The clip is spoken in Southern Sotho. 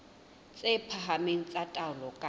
tse phahameng tsa taolo ka